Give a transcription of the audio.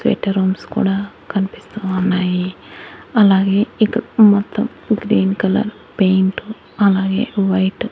rooms కూడా కన్పిస్తూ ఉన్నాయి అలాగే ఇటు మొత్తం గ్రీన్ కలర్ పెయింటు అలాగే వైట్--